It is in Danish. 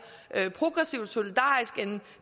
progressivt og solidarisk end